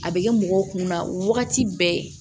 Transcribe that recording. A bɛ kɛ mɔgɔw kunna wagati bɛɛ